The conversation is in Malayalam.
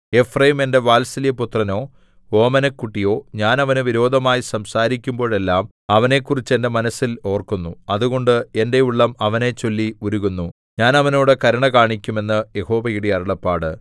എഫ്രയീം എന്റെ വാത്സല്യപുത്രനോ ഓമനക്കുട്ടിയോ ഞാൻ അവന് വിരോധമായി സംസാരിക്കുമ്പോഴെല്ലാം അവനെക്കുറിച്ച് എന്റെ മനസ്സിൽ ഓർക്കുന്നു അതുകൊണ്ട് എന്റെ ഉള്ളം അവനെച്ചൊല്ലി ഉരുകുന്നു ഞാൻ അവനോട് കരുണ കാണിക്കും എന്ന് യഹോവയുടെ അരുളപ്പാട്